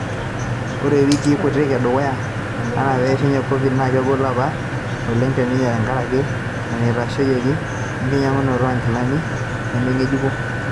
Ore wikii kutik edukuya enaa peeishunye Covid naa kegol apa oleng teninye tenkaraki eneitashoyiaki enkinyangunoto oonkilani nemengejuko.